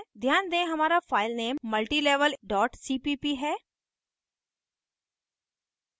ध्यान दें हमारा file multilevel cpp है